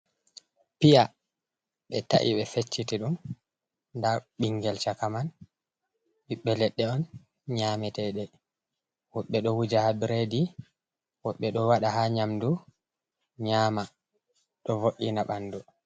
Piya be ta’i be feccite ɗum da ɓingel chaka man ɓibbe ledde on nyametede wobɓe do wuja ha biredi wobɓe ɗo wada ha nyamdu nyama ɗo vo’’ina ɓandu.